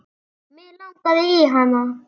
Mig langaði í hana.